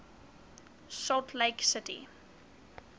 salt lake city